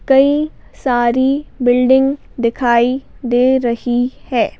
कई सारी बिल्डिंग दिखाई दे रही है।